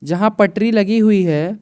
जहां पटरी लगी हुई है।